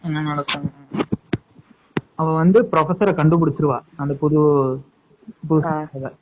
என்ன நடக்கும் அவ வந்து professor கண்டு புடிச்சுருவா அந்த புது